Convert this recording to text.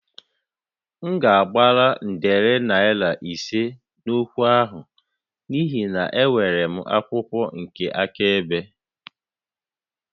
M ga-agbara nde naira ise n'okwu a n'ihi na enwere m akwụkwọ nke akaebe